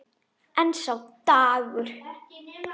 En sá dagur!